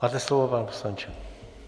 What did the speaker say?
Máte slovo, pane poslanče.